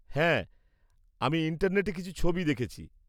হ্যাঁ, আমি ইন্টারনেটে কিছু ছবি দেখেছি।